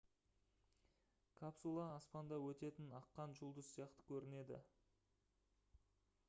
капсула аспанда өтетін аққан жұлдыз сияқты көрінеді